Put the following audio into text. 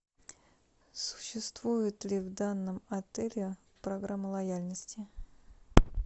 существует ли в данном отеле программа лояльности